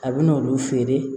A bɛ n'olu feere